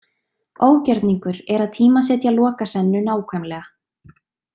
Ógjörningur er að tímasetja Lokasennu nákvæmlega.